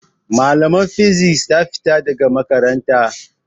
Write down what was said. Malamar fisik ta fita daga makaranta.